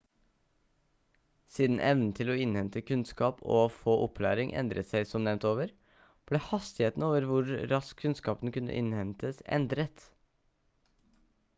siden evnen til å innhente kunnskap og å få opplæring endret seg som nevnt over ble hastigheten over hvor raskt kunnskapen kunne innhentes endret